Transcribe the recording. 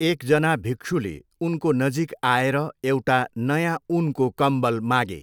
एकजना भिक्षुले उनको नजिक आएर एउटा नयाँ ऊनको कम्बल मागे।